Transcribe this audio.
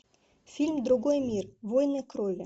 фильм другой мир войны крови